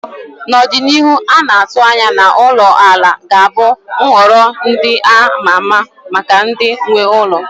Na ọdịnihu, a na-atụ anya na ulo ala ga-abụ nhọrọ ndị a ma ama maka ndị nwe ụlọ